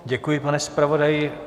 Děkuji, pane zpravodaji.